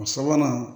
O sabanan